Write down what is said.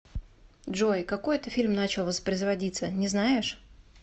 джой какой это фильм начал воспроизводиться не знаешь